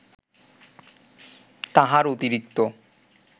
তাহার অতিরিক্ত